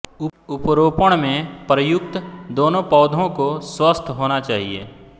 उपरोपण में प्रयुक्त दोनों पौधों को स्वस्थ होना चाहिए